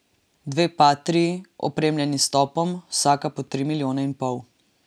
Dve patrii, opremljeni s topom, vsaka po tri milijone in pol.